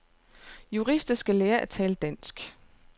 Jurister skal lære at tale dansk.